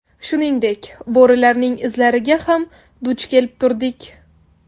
Shuningdek, bo‘rilarning izlariga ham duch kelib turdik.